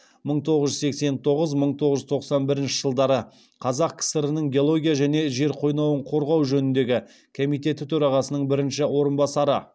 мың тоғыз жүз сексен тоғыз мың тоғыз жүз тоқсан бірінші жылдары қазақ кср нің геология және жер қойнауын қорғау жөніндегі комитеті төрағасының бірінші орынбасары